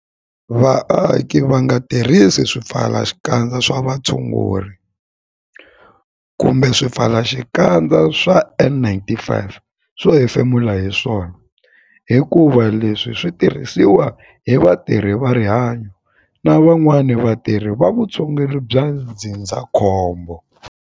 Vaaki va nga tirhisi swipfalaxikandza swa vutshunguri kumbe swipfalaxikandza swa N-95 swo hefemula hi swona hikuva leswi swi tirhisiwa hi vatirhi va rihanyo na van'wana vatirhi va vutshunguri bya ndzindzakhombo.